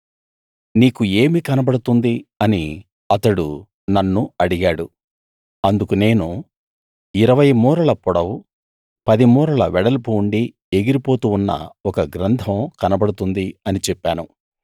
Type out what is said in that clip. నీకు ఏమి కనబడుతుంది అని అతడు నన్ను అడిగాడు అందుకు నేను 20 మూరల పొడవు 10 మూరల వెడల్పు ఉండి ఎగిరిపోతూ ఉన్న ఒక గ్రంథం కనబడుతుంది అని చెప్పాను